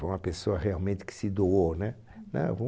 Foi uma pessoa realmente que se doou né